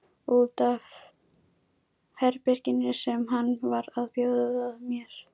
Út af herberginu sem hann var að bjóða mér.